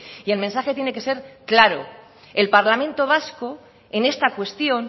y el mensaje tiene que ser claro el parlamento vasco en esta cuestión